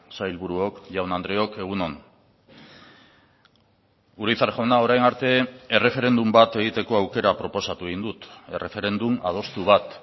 sailburuok jaun andreok egun on urizar jauna orain arte erreferendum bat egiteko aukera proposatu egin dut erreferendum adostu bat